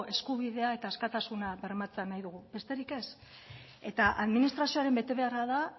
eskubidea eta askatasuna bermatzea nahi dugu besterik ez eta administrazioaren betebeharra da